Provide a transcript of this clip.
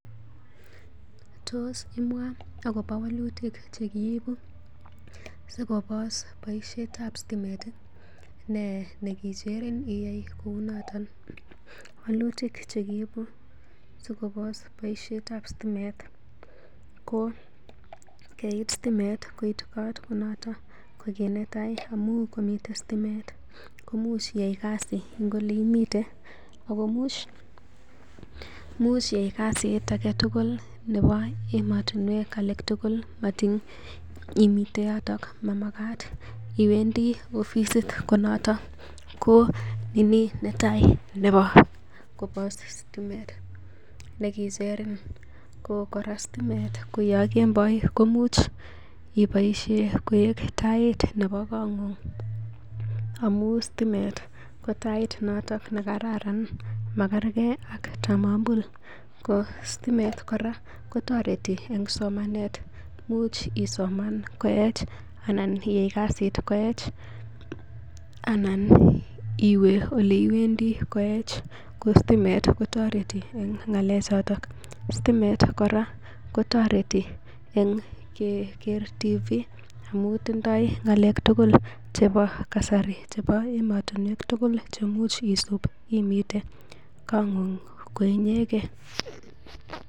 Tos imwa agobo walutik chekiibu sigobos boisietab sitimet nee nekicheren iyai kounoton walutik che kiibu sikobos boisietab sitimet. Ko keib sitimet koit kot ko noto kit netai amun komiten sitimet komuch koiyai kasi en ole imiten ago imuch iyai kasit agetugul nebo emotinwek age tugul matin imiten yoton. Mamagat iwendi ofisit noton ko ni ini netai nebo sitimet nekicherin, ko sitimet ko yon kemboi komuch iboishe koik tait nebo kong'ung amun sitimet ko tait noto nekararan, makerkei ak tamambul. Ko sitemet kora kotoreti en somanet, imuch isoman koech anan iyai kasit koech anan iwe ole iwendi koech. Ko sitimet kotoreti en ng'alechoto. Sitimet kora kotoreti en keger TV amun tindoi ngalek tugul chebo kasari chebo emotinwek tugul chemuch isub imiten kong'ng koinyegen.